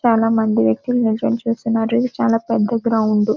చాలామంది వ్యక్తులు నించొని చూస్తున్నారు ఇది చాలా పెద్ద గ్రౌండ్ .